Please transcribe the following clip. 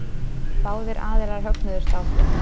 Báðir aðilar högnuðust á því.